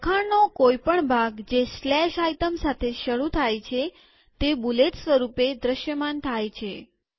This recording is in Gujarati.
લખાણનો કોઈ પણ ભાગ જે item સાથે શરુ થાય તે બુલેટ સ્વરૂપે દ્રશ્યમાન થાય છે